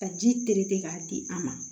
Ka ji terete k'a di an ma